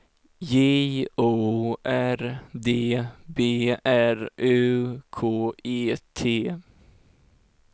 J O R D B R U K E T